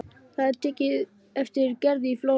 Það er tekið eftir Gerði í Flórens.